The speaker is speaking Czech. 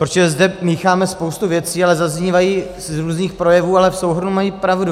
Protože zde mícháme spoustu věcí a zaznívají z různých projevů, ale v souhrnu mají pravdu.